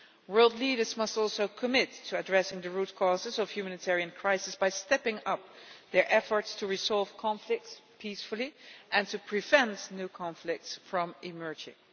World leaders must also commit to addressing the root causes of humanitarian crises by stepping up their efforts to resolve conflicts peacefully and to prevent new conflicts from emerging.